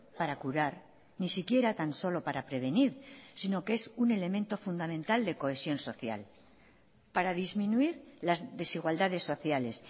para curar ni siquiera tan solo para prevenir sino que es un elemento fundamental de cohesión social para disminuir las desigualdades sociales